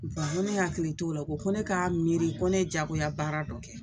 ko ne hakili t'o la ko ko ne k'a miiri ko ne jagoya baara dɔ kɛ